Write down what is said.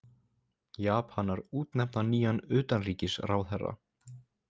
Japanar útnefna nýjan utanríkisráðherra